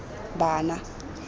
bana